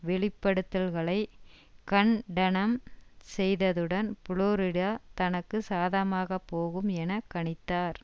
வெளிப்படுத்தல்களை கண்டனம் செய்ததுடன் புளோரிடா தனக்கு சாதகமாக போகும் என கணித்தார்